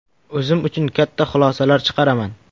O‘zim uchun katta xulosalar chiqaraman.